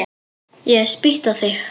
Ég hef spýtt á þig.